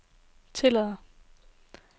tillader